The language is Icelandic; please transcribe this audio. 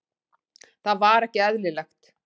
Það var ekki eðlilegt.